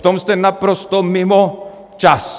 V tom jste naprosto mimo čas.